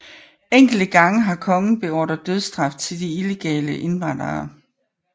Enkelte gange har kongen beordret dødsstraf til de illegale indvandrere